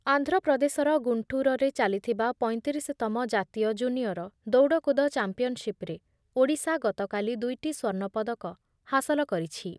ଆନ୍ଧ୍ରପ୍ରଦେଶର ଗୁଣ୍ଡୁରରେ ଚାଲିଥିବା ପଞ୍ଚତିରିଶତମ ଜାତୀୟ ଜୁନିୟର ଦୌଡ଼କୁଦ ଚାମ୍ପିୟନସିପ୍‌ରେ ଓଡ଼ିଶା ଗତକାଲି ଦୁଇଟି ସ୍ଵର୍ଣପଦକ ହାସଲ କରିଛି ।